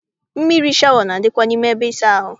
Mmiri shawa na- adịkwa n'ime ebe ịsa ahụ.